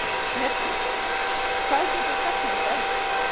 Mjallhvít, hvað geturðu sagt mér um veðrið?